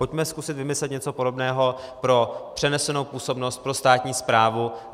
Pojďme zkusit vymyslet něco podobného pro přenesenou působnost pro státní správu.